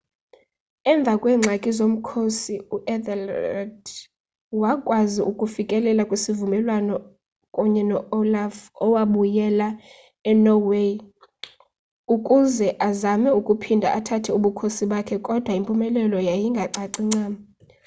emva kweengxaki zomkhosi u-ethelred wakwazi ukufikelela kwisivumelwano kunye no-olaf owabuyela enorway ukuze azame ukuphinde athathe ubukhosi bakhe kodwa impumelelo yayingacaci ncam